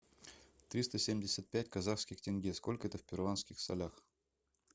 триста семьдесят пять казахских тенге сколько это в перуанских солях